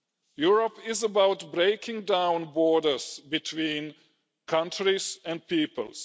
Europe is about breaking down borders between countries and peoples.